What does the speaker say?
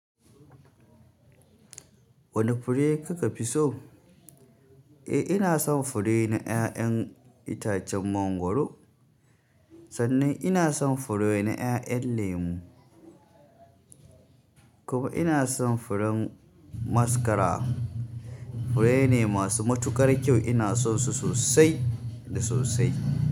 Wane fure kuka fi so? Eh ina son fure na 'ya'yan itacen mangwaro. Sannan ina son fure na ƴaƴan lemu, kuma ina son furen mascara. Fure ne masu matuƙar kyau. Ina son su sosai da sosai.